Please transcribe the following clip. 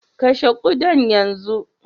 kashe ƙudan yanzu!